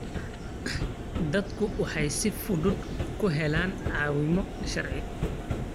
Dadku waxay si fudud ku helaan caawimo sharci.